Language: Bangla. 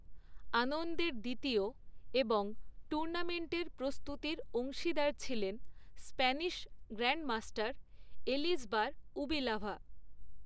আনন্দের দ্বিতীয় এবং টুর্নামেন্টের প্রস্তুতির অংশীদার ছিলেন স্প্যানিশ গ্র্যান্ডমাস্টার এলিজবার উবিলাভা।